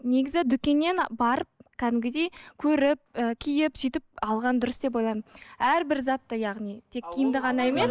негізі дүкеннен барып кәдімгідей көріп і киіп сөйтіп алған дұрыс деп ойлаймын әрбір затты яғни тек киімді ғана емес